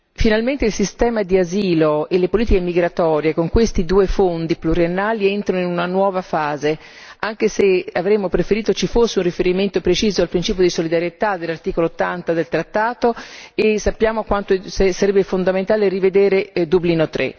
Finalmente il sistema di asilo e le politiche migratorie con questi due fondi pluriennali entrano in una nuova fase, anche se avremmo preferito ci fosse un riferimento preciso al principio di solidarietà dell'articolo 80 del trattato e sappiamo quanto sarebbe fondamentale rivedere Dublino